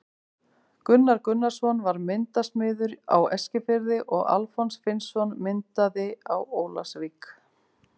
Gunnar Gunnarsson var myndasmiður á Eskifirði og Alfons Finnsson myndaði á Ólafsvík.